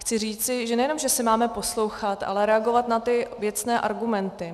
Chci říci, že nejenom že se máme poslouchat, ale reagovat na ty věcné argumenty.